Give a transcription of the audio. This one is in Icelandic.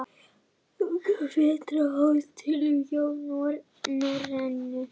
Vetraráætlun hjá Norrænu